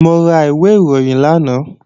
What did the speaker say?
Mo ra ìwé ìròyìn lánàá